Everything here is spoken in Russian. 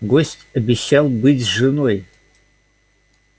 гость обещал быть с женой